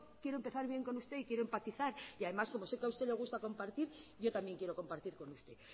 quiero empezar bien con usted y quiero empatizar y además como sé que a usted le gusta compartir yo también quiero compartir con usted